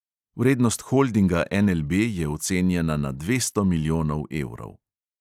Vrednost holdinga NLB je ocenjena na dvesto milijonov evrov.